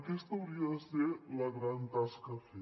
aquesta hauria de ser la gran tasca a fer